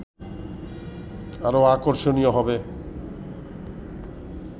আরও আকর্ষণীয় হবে